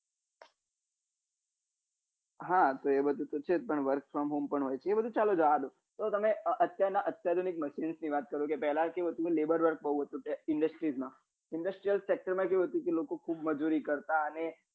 હા એ બધું પૂછે જ પણ work from home હોય છે એ બધું ચાલી જાય તો તમે અત્યારના આધુનિક machine નો ની વાત કરો કે પેલા કેવું હતું કે label work વાળું industry માં industry faculty મા કેવું હતું કે લોકો ખુબ મજુરી કરતા અને